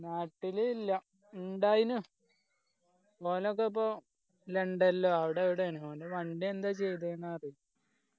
നാട്ടില് ഇല്ല ഇണ്ടായിനു ലണ്ടൻ ലോ അവിടെ എവിടെയാണ് ഓൻ്റെ വണ്ടി എന്താ ചെയ്‌തെന്ന് അറിയില്ല